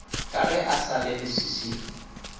ka ge e sa leleswiswi